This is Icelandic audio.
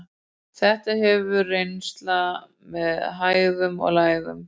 Þetta hefur verið reynsla með hæðum og lægðum.